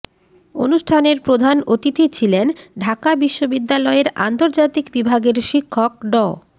অনুষ্ঠানের প্রধান অতিথি ছিলেন ঢাকা বিশ্ববিদ্যালয়ের আন্তর্জাতিক বিভাগের শিক্ষক ড